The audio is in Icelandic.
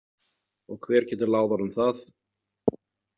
Og hver getur láð honum það?